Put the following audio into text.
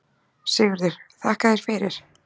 SIGURÐUR: Þakka þér fyrir.